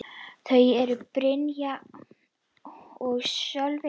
Þau eru: Brynja og Sölvi.